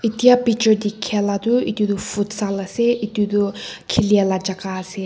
itia picture dikhia la toh itu toh futsal ase itu toh khilie laga jaga ase.